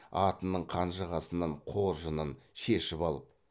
атының қанжығасынан қоржынын шешіп алып